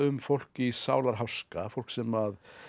fólk í sálarháska fólk sem